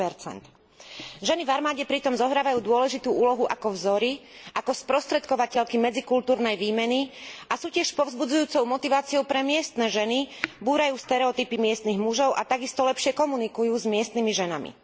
10 Ženy v armáde pritom zohrávajú dôležitú úlohu ako vzory, ako sprostredkovateľky medzikultúrnej výmeny a sú tiež povzbudzujúcou motiváciou pre miestne ženy, búrajú stereotypy miestnych mužov a takisto lepšie komunikujú s miestnymi ženami.